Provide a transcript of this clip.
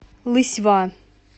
лысьва